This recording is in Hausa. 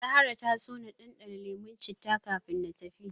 Zahra ta so na ɗanɗana lemon citta kafin na tafi.